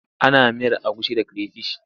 Ana miyar agushi da creyfish.